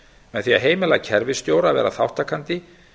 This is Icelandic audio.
með því að heimila kerfisstjóra að vera þátttakandi